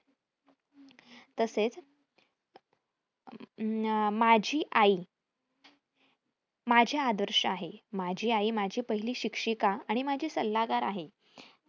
तसेच अह माझी आई माझे आदर्श आहे. माझी आई माझी पहिली शिक्षिका आणि माझी सल्लागार आहे.